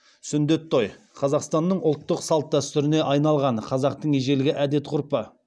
сүндет той қазақстанның ұлттық салт дәстүріне айналған қазақтың ежелгі әдет ғұрпы